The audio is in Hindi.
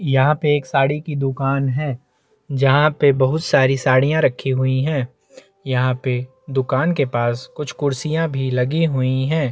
यहाँ पे एक साड़ी की दुकान है जहाँ पे बहुत सारी साड़ियां रखी हुई है यहाँ पे दुकान के पास कुछ कुर्सियां भी लगी हुई है।